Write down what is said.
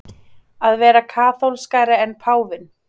Að vera kaþólskari en páfinn